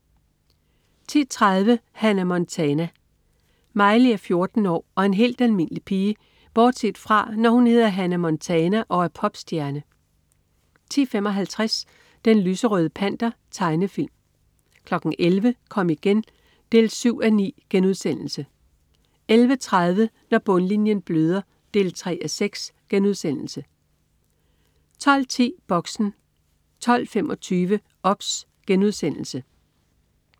10.30 Hannah Montana. Miley er 14 år og en helt almindelig pige bortset fra, når hun hedder Hannah Montana og er popstjerne 10.55 Den lyserøde Panter. Tegnefilm 11.00 Kom igen 7:9* 11.30 Når bundlinjen bløder 3:6* 12.10 Boxen 12.25 OBS*